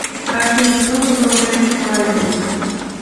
афина кто возглавляет фрайбург